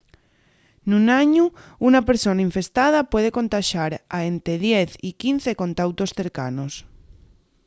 nun añu una persona infestada puede contaxar a ente 10 y 15 contautos cercanos